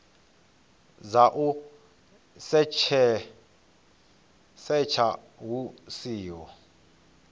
dza u setsha hu siho